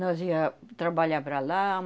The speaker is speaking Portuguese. Nós ia trabalhar para lá.